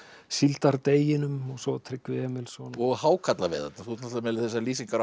síldardeginum og svo Tryggvi Emilsson og hákarlaveiðarnar þú ert náttúrulega með þessar lýsingar á